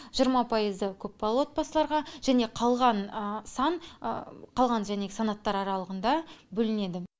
жиырма пайызы көпбалалы отбасыларға және қалған сан қалған және санаттар аралығында бөлінеді